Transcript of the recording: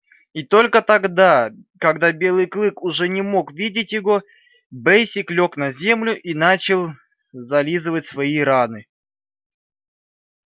и только тогда когда белый клык уже не мог видеть его бэсик лёг на землю и начал зализывать свои раны